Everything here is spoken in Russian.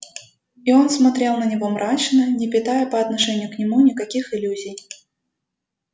и он смотрел на него мрачно не питая по отношению к нему никаких иллюзий